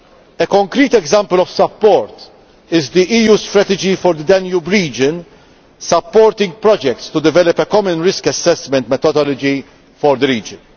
A concrete example of support is the EU Strategy for the Danube Region, supporting projects to develop a common risk assessment methodology for the region.